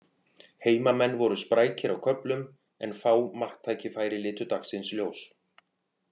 Heimamenn voru sprækir á köflum en fá marktækifæri litu dagsins ljós.